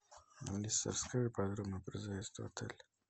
алиса расскажи подробно про заезд в отель